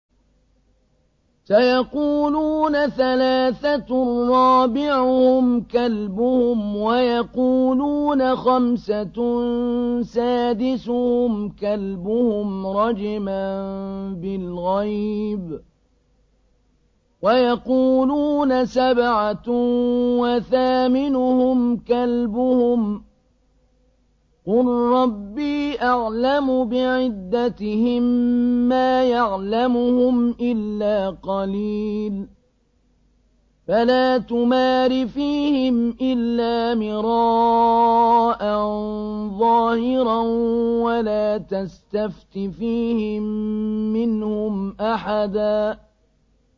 سَيَقُولُونَ ثَلَاثَةٌ رَّابِعُهُمْ كَلْبُهُمْ وَيَقُولُونَ خَمْسَةٌ سَادِسُهُمْ كَلْبُهُمْ رَجْمًا بِالْغَيْبِ ۖ وَيَقُولُونَ سَبْعَةٌ وَثَامِنُهُمْ كَلْبُهُمْ ۚ قُل رَّبِّي أَعْلَمُ بِعِدَّتِهِم مَّا يَعْلَمُهُمْ إِلَّا قَلِيلٌ ۗ فَلَا تُمَارِ فِيهِمْ إِلَّا مِرَاءً ظَاهِرًا وَلَا تَسْتَفْتِ فِيهِم مِّنْهُمْ أَحَدًا